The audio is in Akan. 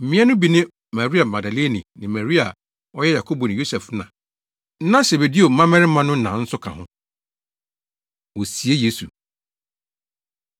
Mmea no bi ne Maria Magdalene ne Maria a ɔyɛ Yakobo ne Yosef na. Na Sebedeo mmabarima no na nso ka ho. Wosie Yesu